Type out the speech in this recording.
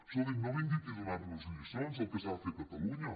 escolti no vingui aquí a donar·nos lliçons del que s’ha de fer a catalunya